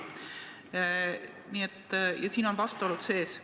Ja siin on vastuolud sees.